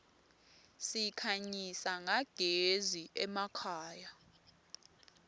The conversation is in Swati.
sikhanyisa nyagezi emakhaya